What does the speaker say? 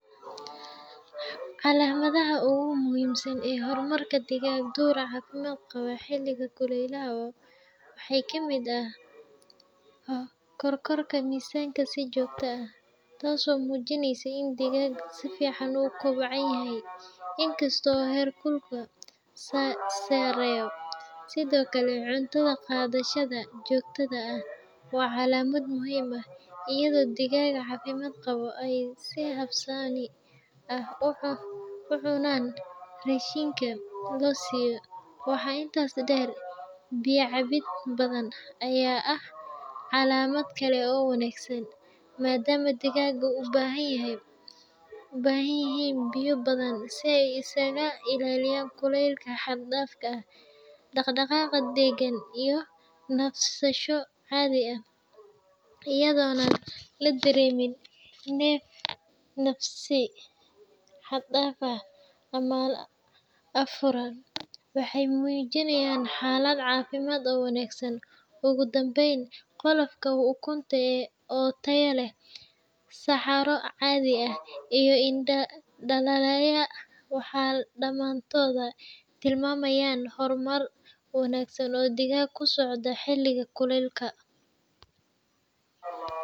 Calamadaha ogu muhiimsan iyo hormarka digag dur caad oo xiliga kulelaha waxee kamiid ah kor korka misanka si jogto ah tas oo xojineysa in digaga u kobcanyahay sareyo, sithokale cuntadha qadhashaada waa muhiim ah iyada oo digag cafimaad qawa ucunan rashinka losiyo waxaa intas deer biya cabiid badan aya ah calamaad kale oo wanagsan madama digaga u ubahan yihin biyo badan si ee isaga ilaliyan kulelka xag dafka ah, ama afuran waxee mujinayan ogu danben qolofka oo taya leh saxaro cadhi ah iyo indalaya waxaa damantoodha tilmamayin wanagsan oo digaga kusocda xiliga kulel ka ah.